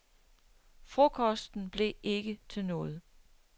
Frokosten blev ikke til noget.